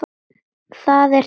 Það er tvennt.